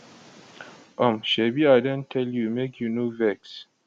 um shebi i don tell you make you no vex